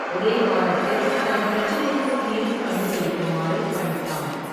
ஒரே வாரத்தில் தன் பிரச்சனைக்குத் தீர்வு கண்டு பிடிக்குமாறு பணித்தான்.